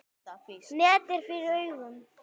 Net er fyrir augum.